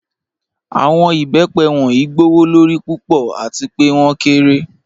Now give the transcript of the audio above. Awọn ibẹ́pẹ wọnyí gbowọ́lọ́rí púpọ̀ àti pẹ̀ wọn kẹ́rẹ̀.